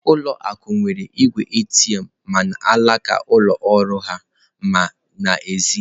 Ụlọ akụ nwere igwe ATM ma n'alaka ụlọ ọrụ ha ma n'èzí.